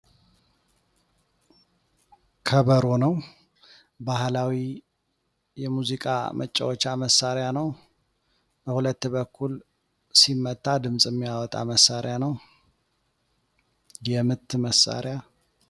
ከበሮ ነው ባህላዊ የሙዚቃ መጫወቻ መሳሪያ ነው በሁለት በኩል ሲመታ ድምፅ የሚያወጣ መሳሪያ ነው። የምት መሳሪያ ነው።